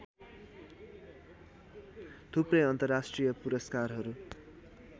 थुप्रै अन्तर्राष्ट्रिय पुरस्कारहरू